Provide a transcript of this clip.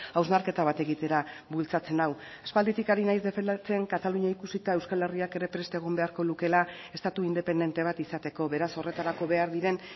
hausnarketa bat egitera bultzatzen nau aspalditik ari naiz defendatzen katalunia ikusita euskal herriak ere prest egon beharko lukeela estatu independente bat izateko beraz horretarako behar diren